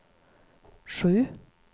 sju